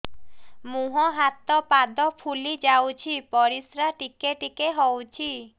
ମୁହଁ ହାତ ପାଦ ଫୁଲି ଯାଉଛି ପରିସ୍ରା ଟିକେ ଟିକେ ହଉଛି